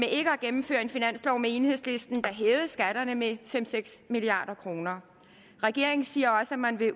ikke at gennemføre en finanslov med enhedslisten der hævede skatterne med fem seks milliard kroner regeringen siger også at man vil